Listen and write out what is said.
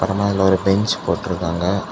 ஆனா அதுல ஒரு பெஞ்ச் போட்டுருக்காங்க.